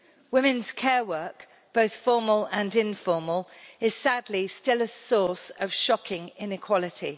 Women's care work, both formal and informal, is sadly still a source of shocking inequality.